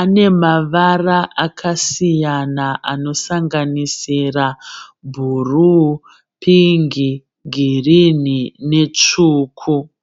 anemavara akasiyana anosanganisira bhuruu, pingi, girinhi netsvuku.